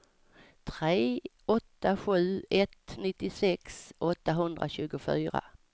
tre åtta sju ett nittiosex åttahundratjugofyra